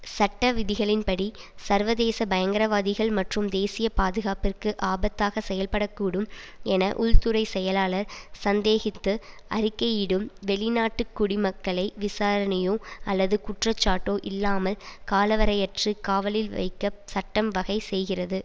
சட்டவிதிகளின் படி சர்வதேச பயங்கரவாதிகள் மற்றும் தேசிய பாதுகாப்பிற்கு ஆபத்தாக செயல்படக்கூடும் என உள்துறை செயலாளர் சந்தேகித்து அறிக்கையிடும் வெளிநாட்டு குடிமக்களை விசாரணையோ அல்லது குற்றச்சாட்டோ இல்லாமல் காலவரையற்று காவலில் வைக்க சட்டம் வகை செய்கிறது